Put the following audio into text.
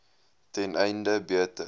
ten einde beter